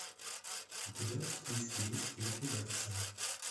у тебя в списке есть ликвидация